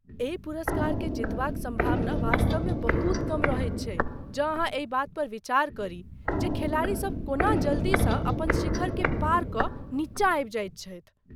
एहि पुरस्कारकेँ जीतबाक सम्भावना वास्तवमे बहुत कम रहैत छैक जँ अहाँ एहि बात पर विचार करी जे खेलाड़ीसभ कोना जल्दीसँ अपन शिखरकेँ पार कऽ नीचाँ आबि जाइत छथि।